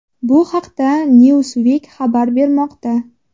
Bu haqda Newsweek xabar bermoqda .